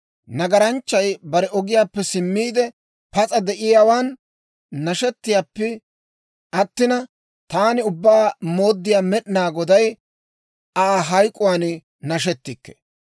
Nagaranchchay bare ogiyaappe simmiide, pas'a de'iyaawan nashettayippe attina, taani Ubbaa Mooddiyaa Med'inaa Goday Aa hayk'k'uwaan nashetikke.